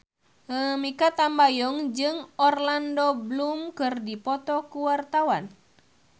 Mikha Tambayong jeung Orlando Bloom keur dipoto ku wartawan